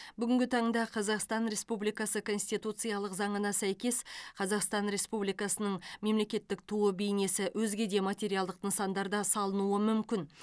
бүгінгі таңда қазақстан республикасы конституциялық заңына сәйкес қазақстан республикасының мемлекеттік туы бейнесі өзге де материалдық нысандарда салынуы мүмкін